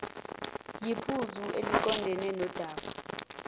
yiphuzu eliqondene nodaba